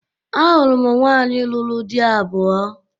Ahụrụ m nwaanyị lụrụ dị abụọ